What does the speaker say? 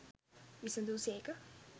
විසඳු සේක.